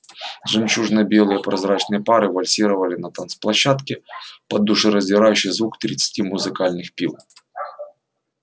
жемчужно-белые прозрачные пары вальсировали на танцплощадке под душераздирающий звук тридцати музыкальных пил